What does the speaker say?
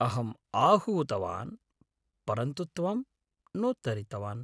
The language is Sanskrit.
अहम्‌ आहूतवान्, परन्तु त्वं नोत्तरितवान्।